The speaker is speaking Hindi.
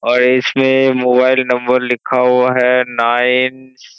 और इसमें मोबाइल नम्बर लिखा हुआ है नाइन --